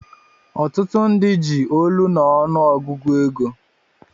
Otutu ndi ji olu na ọnụ ogụgụ ego.